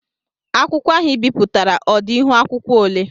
Akwụkwọ ahụ I bipụtara ọ dị ihuakwụkwọ ole?